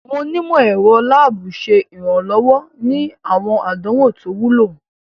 Awọn onimọ-ẹrọ laabu ṣe iranlọwọ ni awọn àdánwò to wúlò.